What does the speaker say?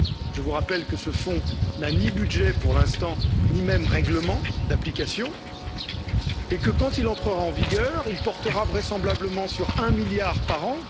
Je vous rappelle que ce fonds n'a ni budget, pour l'instant, ni même règlement d'application et que quand il entrera en vigueur, il portera vraisemblablement sur un milliard par an.